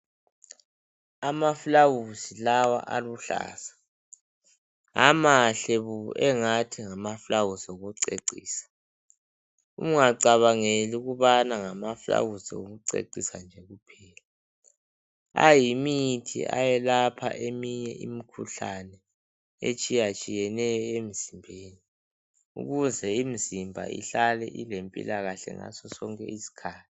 Amaluba lawa aluhlaza amahle bo engathi ngamaluba okucecisa ungacabangeli ukubana ngamaluba okucecisa nje kuphela ayimithi eyelapha eminye imikhuhlane etshiya tshiyeneyo emzimbeni ukuze imizimba ihlale ilempilakahle ngasosonke isikhathi.